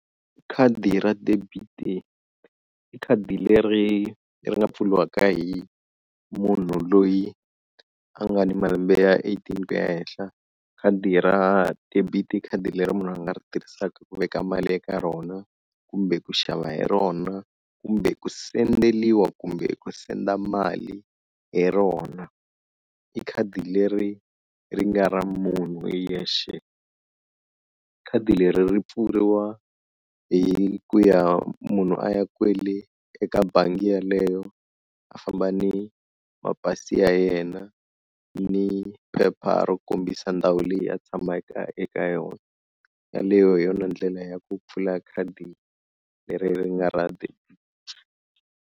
Khadi ra debit-i khadi le ri ri nga pfuliwaka hi munhu loyi a nga ni malembe ya eighteen ku ya henhla khadi ra debit-i i khadi leri munhu a nga ri tirhisaka ku veka mali eka rona kumbe ku xava hi rona kumbe ku sendeliwa kumbe ku senda mali hi rona, i khadi leri ri nga ra munhu hi yexe. Khadi leri ri pfuriwa hi ku ya munhu a ya kwele eka bangi yaleyo a famba ni mapasi ya yena ni phepha ro kombisa ndhawu leyi a tshamaka eka yona, yaleyo hi yona ndlela ya ku pfula khadi leri ri nga ra ti.